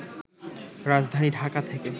রাজধানী ঢাকা থেকে